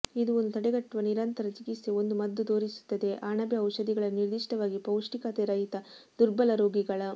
ಇದು ಒಂದು ತಡೆಗಟ್ಟುವ ನಿರಂತರ ಚಿಕಿತ್ಸೆ ಒಂದು ಮದ್ದು ತೋರಿಸುತ್ತದೆ ಅಣಬೆ ಔಷಧಿಗಳನ್ನು ನಿರ್ದಿಷ್ಟವಾಗಿ ಪೌಷ್ಟಿಕತೆರಹಿತ ದುರ್ಬಲ ರೋಗಿಗಳ